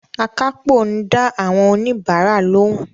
Akápò ń dá àwọn òníbarà lóhùn